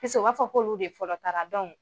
u b'a fɔ k'olu de fɔlɔ taara dɔnku